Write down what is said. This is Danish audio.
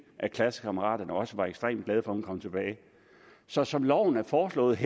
at klassekammeraterne også var ekstremt glade for at hun kom tilbage så som lovforslaget